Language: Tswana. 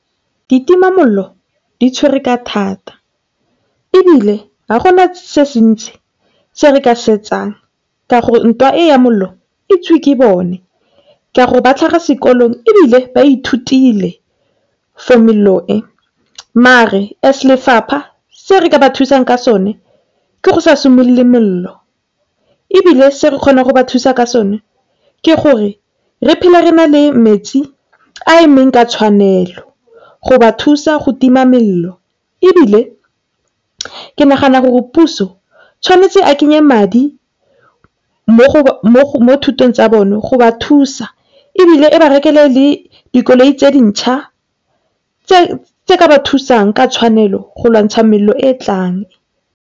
Ditimamollo di tshwere ka thata ebile ga gona se se ntsi se re ka se etsang ka gore ntwa e ya mollo e itsiwe ke bone, ka gore ba tlhaga sekolong ebile ba ithutile for mello e. Mare as lefapha se re ka ba thusang ka sone ke go sa simolole mollo, ebile se re kgona go ba thusa ka sone ke gore re phele re na le metsi a emeng ka tshwanelo go ba thusa go tima mello. Ebile ke nagana gore puso tshwanetse a kenye madi mo thutong tsa bona go ba thusa, ebile a ba rekele dikoloi tse dinšha le tse ka ba thusang ka tshwanelo go lwantsha mello e tlang.